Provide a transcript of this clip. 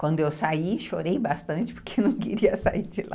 Quando eu saí, chorei bastante porque não queria sair de lá.